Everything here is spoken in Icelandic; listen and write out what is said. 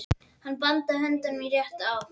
Hann bandaði höndinni í rétta átt.